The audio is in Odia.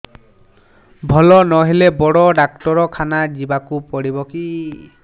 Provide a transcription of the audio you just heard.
ଭଲ ନହେଲେ ବଡ ଡାକ୍ତର ଖାନା ଯିବା କୁ ପଡିବକି